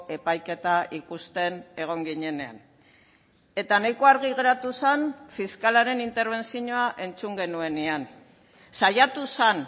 epaiketa ikusten egon ginenean eta nahiko argi geratu zen fiskalaren interbentzioa entzun genuenean saiatu zen